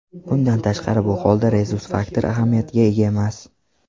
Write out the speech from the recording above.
Bundan tashqari, bu holda rezus faktor ahamiyatga ega emas.